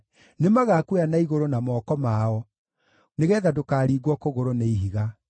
nĩmagakuoya na igũrũ na moko mao nĩgeetha ndũkaringwo kũgũrũ nĩ ihiga.